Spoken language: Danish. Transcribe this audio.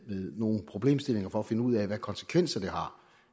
nogle problemstillinger for at finde ud af hvilke konsekvenser det har